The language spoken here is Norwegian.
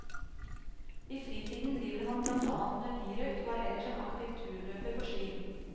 I fritiden driver han blant annet med birøkt, og er ellers en aktiv turløper på ski.